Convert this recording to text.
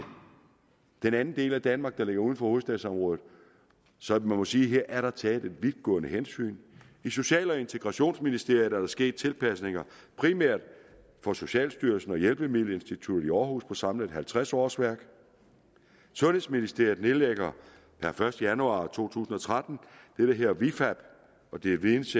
den del af danmark der ligger uden for hovedstadsområdet så man må sige er der taget et vidtgående hensyn i social og integrationsministeriet er der sket tilpasninger primært af socialstyrelsen og hjælpemiddelinstituttet i aarhus på samlet halvtreds årsværk sundhedsministeriet nedlægger per første januar to tusind og tretten det der hedder vifab det er videns